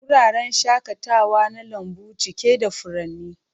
Wuraren shakatawa na lambu cike da furanni.